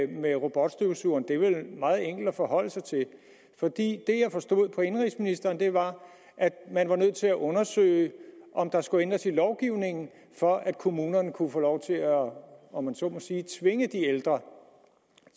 med robotstøvsugeren er vel meget enkelt at forholde sig til fordi det jeg forstod på indenrigsministeren var at man var nødt til at undersøge om der skulle ændres i lovgivningen for at kommunerne kunne få lov til at om om man så må sige tvinge de ældre